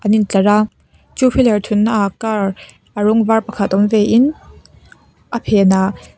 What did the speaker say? in tlar a two wheeler thunna ah car a rawng var pakhat awm ve in a phen ah.